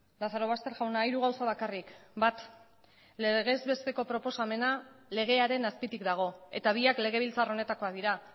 lazarobaster jauna hiru gauza bakarrik bat legez besteko proposamena legearen azpitik dago eta biak legebiltzar honetakoak dira